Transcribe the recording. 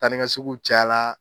Taanikaseginw caya la